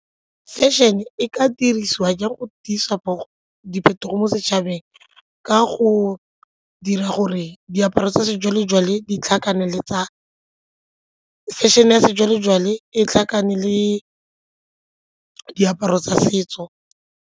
Fashion-e e ka dirisiwa ke go tiisa diphetogo mo setšhabeng ka go dira gore fashion-e ya sejwalejwale e tlhakane le diaparo tsa setso.